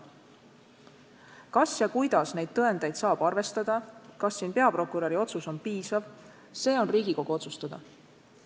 Kuidas ja kas üldse niisuguseid tõendeid saab arvestada, kas peaprokuröri otsus on piisav – see on Riigikogu otsustada.